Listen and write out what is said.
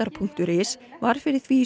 punktur is varð fyrir því